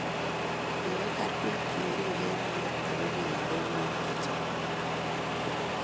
Kigibar biik cheribe emet ago biikab emet chechang